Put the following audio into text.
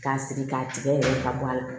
K'a sigi k'a tigɛ ka bɔ a la